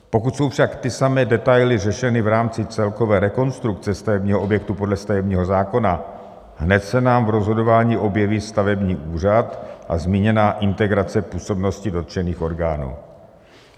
Pokud jsou však ty samé detaily řešeny v rámci celkové rekonstrukce stavebního objektu podle stavebního zákona, hned se nám v rozhodování objeví stavební úřad a zmíněná integrace působnosti dotčených orgánů.